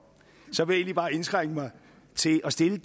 så vil jeg egentlig bare indskrænke mig til at stille